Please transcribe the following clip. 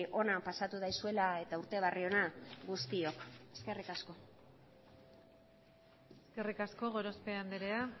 ona pasatu daizuela eta urte berri ona guztiok eskerrik asko eskerrik asko gorospe andrea